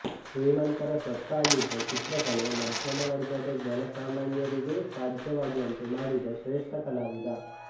ಶ್ರೀಮಂತರ ಸ್ವತ್ತಾಗಿದ್ದ ಚಿತ್ರಕಲೆ ಮಧ್ಯಮವರ್ಗದ ಜನಸಾಮಾನ್ಯರಿಗೂ ಸಾಧ್ಯವಾಗುವಂತೆ ಮಾಡಿದ ಶ್ರೇಷ್ಠ ಕಲಾವಿದ